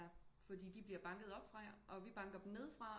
Ja fordi de bliver banket oppe fra og vi banker dem nede fra